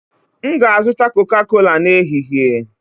M ga-azụta Coca-cola n'ehihie